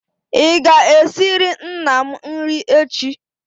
ị ga-esiri nna m nri echi?